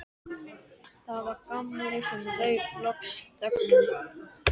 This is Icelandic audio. Það var Gamli sem rauf loks þögnina.